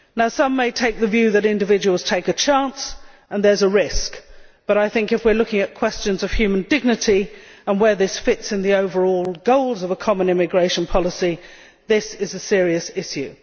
Some may take the view that individuals take a chance and there is a risk, but if we are looking at questions of human dignity, and where this fits in the overall goals of a common immigration policy, this is a serious issue.